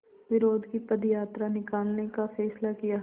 विरोध की पदयात्रा निकालने का फ़ैसला किया